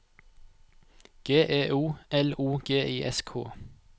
G E O L O G I S K